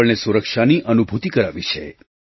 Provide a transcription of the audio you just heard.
આપણને સુરક્ષાની અનુભૂતિ કરાવી છે